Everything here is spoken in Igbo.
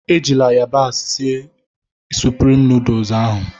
Ejila yabasị sịe Sụprịm nooduls ahụ